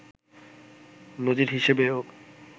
নজির হিসেবেও